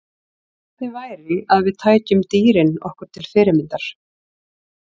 Hvernig væri að við tækjum dýrin okkur til fyrirmyndar?